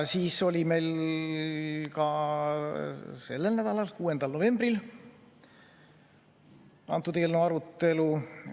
Meil oli ka 6. novembril selle eelnõu arutelu.